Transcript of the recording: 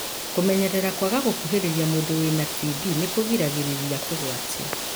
Kũmenyerera kwaga gũkuhĩrĩria mũndũ wĩna TB nĩkũgiragĩrĩria kũgwatio.